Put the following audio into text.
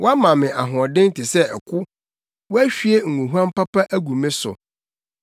Woama me ahoɔden te sɛ ɛko; woahwie ngohuam papa agu me so.